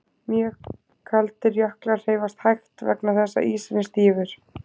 Mjög kaldir jöklar hreyfast hægt vegna þess að ísinn er stífur.